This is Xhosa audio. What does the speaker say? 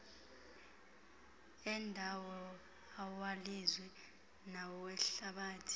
endawo awelizwe nawehlabathi